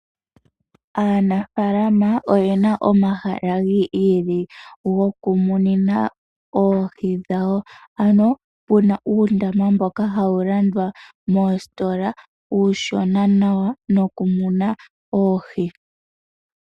Aanafaalama oye na omahala gi ili gokumunina oohi dhawo. Opu na uundama mboka hawu landwa moositola uushona nawa nokumunila oohi.